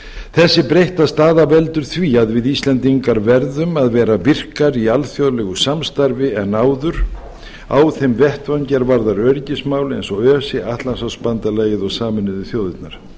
þessi breytta staða veldur því að við íslendingar verðum að vera virkari í alþjóðlegu samstarfi en áður á þeim vettvangi er varðar öryggismál eins og öse atlantshafsbandalagið og sameinuðu þjóðirnar